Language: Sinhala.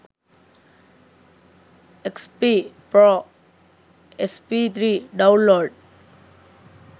xp pro sp3 download